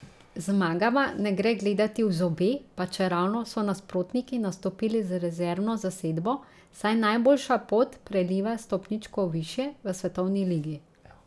Zmagama ne gre gledati v zobe, pa čeravno so nasprotniki nastopili z rezervno zasedbo, saj najboljša pot preliva stopničko višje, v svetovni ligi.